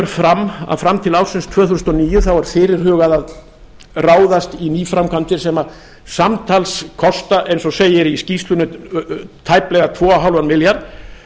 fram að fram til ársins tvö þúsund og níu þá er fyrirhugað að ráðast í nýframkvæmdir sem samtals kosta eins og segir í skýrslunni tæplega tvö og hálfan milljarð